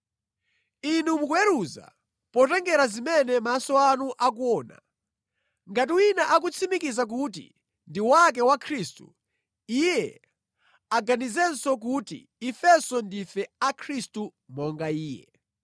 Inu mukuweruza potengera zimene maso anu akuona. Ngati wina akutsimikiza kuti ndi wake wa Khristu, iye aganizenso kuti ifenso ndife a Khristu monga iye.